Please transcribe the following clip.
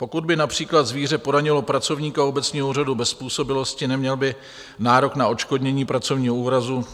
Pokud by například zvíře poranilo pracovníka obecního úřadu bez způsobilosti, neměl by nárok na odškodnění pracovního úrazu.